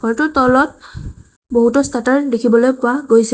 তলত বহুতো শ্বাটাৰ দেখিবলৈ পোৱা গৈছে।